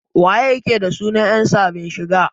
Wa yake da suna yan sabin shigan?